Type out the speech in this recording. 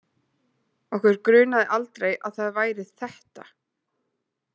Okkur grunaði aldrei að það væri ÞETTA!